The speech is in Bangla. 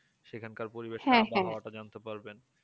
সেখানকার পরিবেশের আবহাওয়াটা জানতে পারবেন